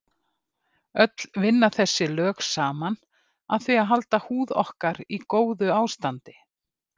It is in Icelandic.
Öll vinna þessi lög saman að því að halda húð okkur í góðu ástandi.